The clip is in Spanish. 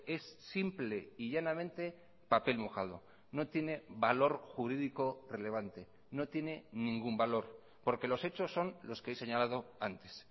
es simple y llanamente papel mojado no tiene valor jurídico relevante no tiene ningún valor porque los hechos son los que he señalado antes